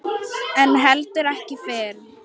En heldur ekki fyrr.